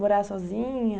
Morar sozinha?